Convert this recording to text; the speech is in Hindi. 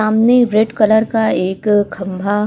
सामने रेड कलर का एक खंभा।